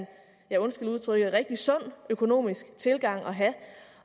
ja undskyld udtrykket rigtig sund økonomisk tilgang at have